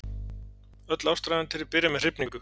Öll ástarævintýri byrja með hrifningu.